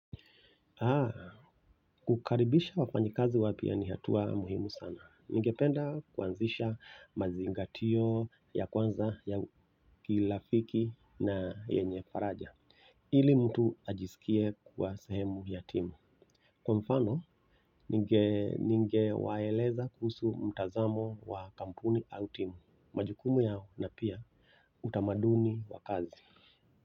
Kukaribisha wafanyikazi wapya ni hatua muhimu sana. Ningependa kuanzisha mazingatio ya kwanza ya kirafiki na yenye faraja. Ili mtu ajisikie kuwa sehemu ya timu. Kwa mfano, ningewaeleza kuhusu mtazamo wa kampuni au timu. Majukumu yao na pia utamaduni wa kazi.